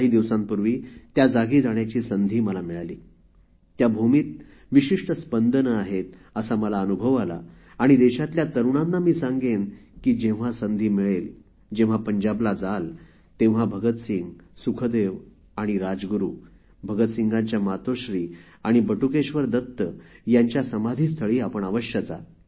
काही दिवसांपूर्वी त्या जागी जाण्याची संधी मला मिळाली त्या भूमीत विशिष्ट स्पंदने आहेत असा मला अनुभव आला आणि देशातल्या तरुणांना मी सांगेन की जेव्हा संधी मिळेल जेव्हा पंजाबला जाल तेव्हा भगतसिंग सुखदेव राजगुरु भगतसिंग यांच्या मातोश्री आणि बटुकेश्वर दत्त यांच्या समाधीस्थळी आपण अवश्य जा